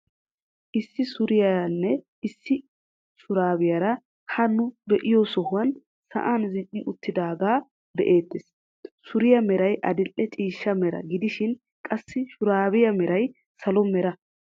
Issi suriyaaranne qassi issi shuraabiyaara ha nu be'iyo sohuwaan sa'an zini"i uttaagaa be'ettees. Suriyaa meray adil"e ciishsha mera gidishin qassi shuraabiyaa meray salo mera.